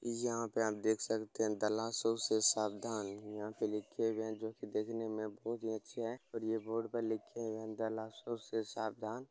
यहा पे आप देख सकते है दलासों से सावधान यहा पे लिखे हुए है जोकि देखने में बहोत अच्छे है और यह बोर्ड पे लिखे हुए है दलासो से सावधान